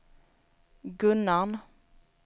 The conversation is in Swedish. Gunnarn